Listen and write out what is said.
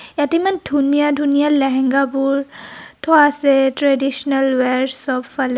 ইয়াত ইমান ধুনীয়া ধুনীয়া লেহেঙা বোৰ থোৱা আছে. ট্ৰেডিচনেল উৱেৰ'চ চব ফালে.